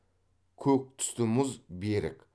көк түсті мұз берік